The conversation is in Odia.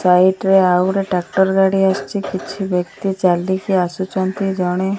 ସାଇଟ ରେ ଆଉ ଗୋଟେ ଟ୍ରାକ୍ଟର ଗାଡ଼ି ଆସୁଚି କିଛି ବ୍ୟକ୍ତି ଚାଲିକି ଆସୁଛନ୍ତି ଜଣେ --